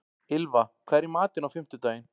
Ylfa, hvað er í matinn á fimmtudaginn?